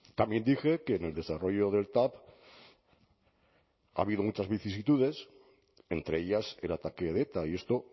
también dije que en el desarrollo del tav ha habido muchas vicisitudes entre ellas el ataque de eta y esto